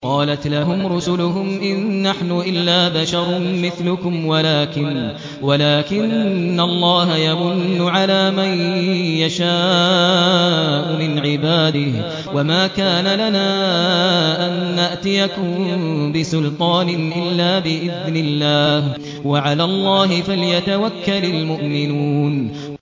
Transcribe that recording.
قَالَتْ لَهُمْ رُسُلُهُمْ إِن نَّحْنُ إِلَّا بَشَرٌ مِّثْلُكُمْ وَلَٰكِنَّ اللَّهَ يَمُنُّ عَلَىٰ مَن يَشَاءُ مِنْ عِبَادِهِ ۖ وَمَا كَانَ لَنَا أَن نَّأْتِيَكُم بِسُلْطَانٍ إِلَّا بِإِذْنِ اللَّهِ ۚ وَعَلَى اللَّهِ فَلْيَتَوَكَّلِ الْمُؤْمِنُونَ